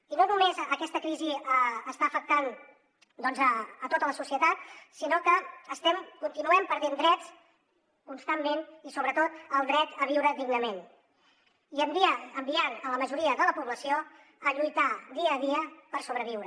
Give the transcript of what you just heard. i no només aquesta crisi està afectant doncs tota la societat sinó que continuem perdent drets constantment i sobretot el dret a viure dignament i estem enviant la majoria de la població a lluitar dia a dia per sobreviure